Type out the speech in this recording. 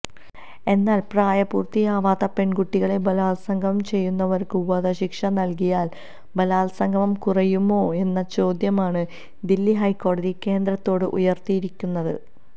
എന്നാൽ പ്രായപൂര്ത്തിയാവാത്ത പെണ്കുട്ടികളെ ബലാത്സംഗം ചെയ്യുന്നവര്ക്ക് വധശിക്ഷ നല്കിയാല് ബലാത്സംഗം കുറയുമോയെന്ന ചോദ്യമാണ് ദില്ലി ഹൈക്കോടതി കേന്ദ്രത്തോട് ഉയർത്തിയിരിക്കുന്നത്